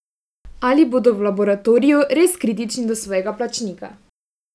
Ali bodo v laboratoriju res kritični do svojega plačnika?